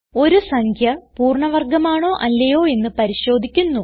ഒരു സംഖ്യ പൂർണ്ണ വർഗമാണോ അല്ലയോ എന്ന് പരിശോധിക്കുന്നു